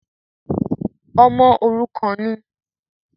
“ọmọ òrukàn” ni?